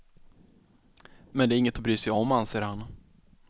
Men det är inget att bry sig om, anser han.